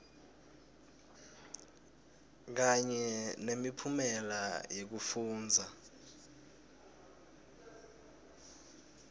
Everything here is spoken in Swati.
kanye nemiphumela yekufundza